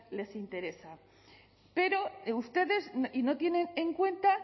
les interesa pero ustedes no tienen en cuenta